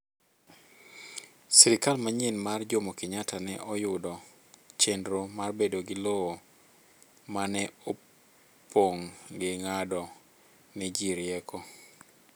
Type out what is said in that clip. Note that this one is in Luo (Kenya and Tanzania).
Sirikal manyien mar Jomo Kenyatta ne oyudo chenro mar bedo gi lowo maneopong' gi ng'ado ni ji rieko